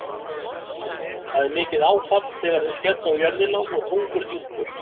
Það er mikið fall þegar þeir skella á jörðina og þungur dynkur.